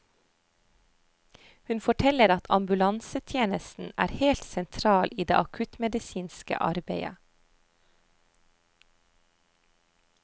Hun forteller at ambulansetjenesten er helt sentral i det akuttmedisinske arbeidet.